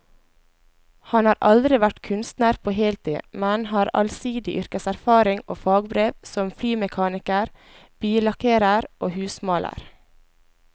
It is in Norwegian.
Han har aldri vært kunstner på heltid, men har allsidig yrkeserfaring og fagbrev som flymekaniker, billakkerer og husmaler.